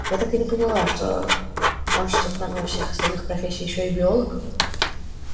я так и не поняла что он что кроме всех остальных профессий ещё и биолог